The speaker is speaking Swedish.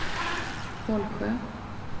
Vollsjö